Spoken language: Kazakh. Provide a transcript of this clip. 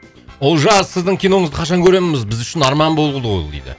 олжас сіздің киноңызды қашан көреміз біз үшін арман болды ғой ол дейді